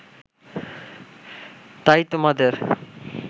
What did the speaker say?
তাই তোমাদের